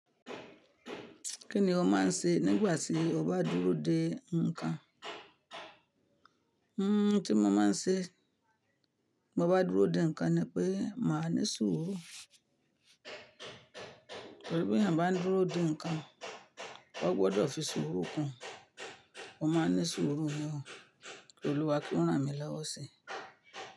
Kí ni o máa ń ṣe nígbà tí o bá dúró de nǹkan? Tí mo máa ń ṣe mó bá dúró de nǹkan ni pé màá ní sùúrù. Torí bí èèyàn bá n duro de nnkan o gbódò fi sùúrù kún. Mo máa ń ní sùúrù gan-an, ki Olúwa kí ó ràn mí lọ́wọ́ si.